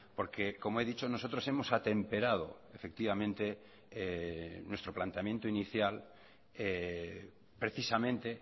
porque como he dicho nosotros hemos atemperado efectivamente nuestro planteamiento inicial precisamente